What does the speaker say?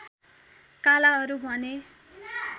कालाहरु भने